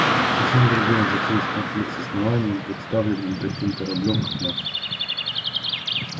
совсем другое затеять конфликт с основанием представленным таким кораблём как наш